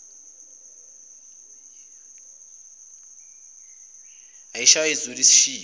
ayishaye izule asishiye